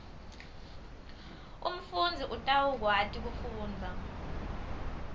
umfundzi utawukwati kufundza